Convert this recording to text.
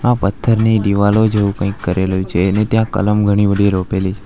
આ પથ્થરની દીવાલો જો કંઈક કરેલો છે એને ત્યાં કલમ ઘણી બધી રોપેલી--